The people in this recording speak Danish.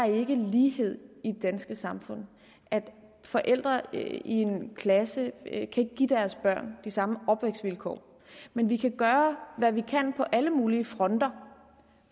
ikke er lighed i det danske samfund at forældre i en klasse ikke kan give deres børn de samme opvækstvilkår men vi kan gøre hvad vi kan på alle mulige fronter